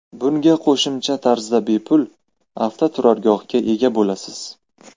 Bunga qo‘shimcha tarzda bepul avtoturargohga ega bo‘lasiz.